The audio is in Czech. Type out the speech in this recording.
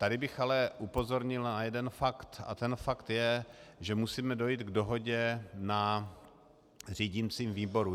Tady bych ale upozornil na jeden fakt, a ten fakt je, že musíme dojít k dohodě na řídicím výboru.